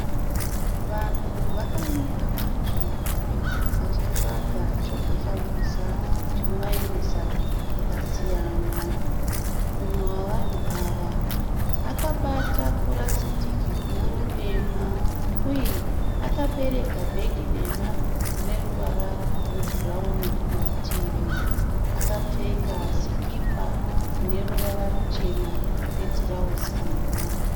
Vanhu vakamira panzvimbo vachitsvaga chekufambisa chino vaendesa kwakasiyana . Umwe wevanhu ava akabata purasitiki guru dema uye akabereka bhegi dema rineruvara rwebhurauni kumativi. Akapfeka sikipa ine ruvara ruchena netirauzi dema.